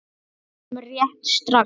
Ég kem rétt strax.